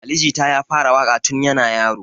Ali jita ya fara waƙa tun yana yaro